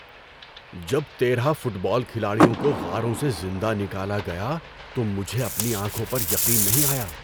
جب تیرہ football کھلاڑیوں کو غاروں سے زندہ نکالا گیا تو مجھے اپنی آنکھوں پر یقین نہیں آیا۔